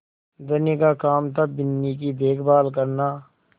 धनी का काम थाबिन्नी की देखभाल करना